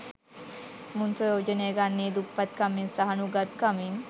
මුන් ප්‍රයෝජනය ගන්නේ දුප්පත් කමින් සහ නුගත් කමින්